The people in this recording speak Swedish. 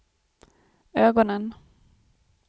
ögonen